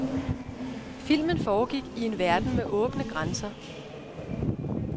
Filmen foregik i en verden med åbne grænser.